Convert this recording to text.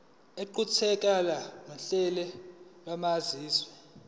iqukathe uhlamvu lwamazwi